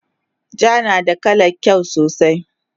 Ja nada kalan kyau sosai